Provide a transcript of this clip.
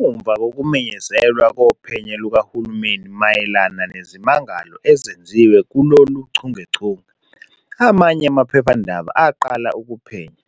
Ngemuva kokumenyezelwa kophenyo lukahulumeni mayelana nezimangalo ezenziwe kulolu chungechunge, amanye amaphephandaba aqala ukuphenya,